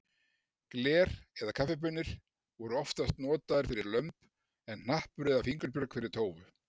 Gler eða kaffibaunir voru oftast notaðar fyrir lömb en hnappur eða fingurbjörg fyrir tófu.